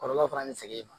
Kɔlɔlɔ fana bɛ se e ma